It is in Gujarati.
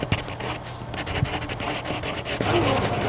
અને